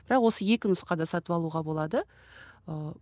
бірақ осы екі нұсқада сатып алуға болады ыыы